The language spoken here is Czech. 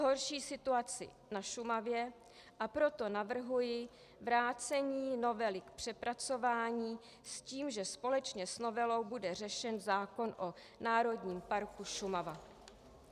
Zhorší situaci na Šumavě, a proto navrhuji vrácení novely k přepracování s tím, že společně s novelou bude řešen zákon o Národním parku Šumava.